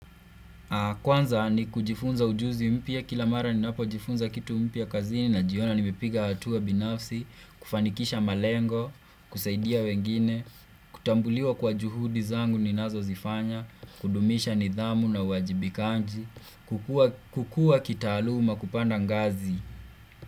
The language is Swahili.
Kwanza ni kujifunza ujuzi mpya kila mara ninapo jifunza kitu mpya kazini najiona nimipiga hatua binafsi, kufanikisha malengo, kusaidia wengine, kutambuliwa kwa juhudi zangu ninazo zifanya, kudumisha nidhamu na uwajibikaji, kukua kitaaluma kupanda ngazi.